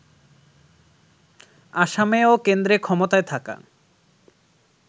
আসামে ও কেন্দ্রে ক্ষমতায় থাকা